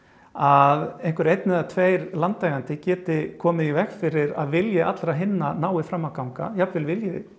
að einhver einn eða tveir landeigendur geti komið í veg fyrir að vilji allra hinna nái fram að ganga jafnvel vilji